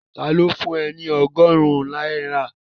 Ta ló fún ẹ ní ọgọ́rùn-ún náírà?